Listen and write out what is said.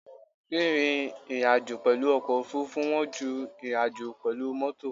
Rírìn ìrìnàjò pẹ̀lú ọkọ̀ òfurufú wọ́n ju ìrìnàjò pẹ̀lú mọ́tò.